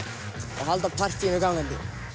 halda partýinu gangandi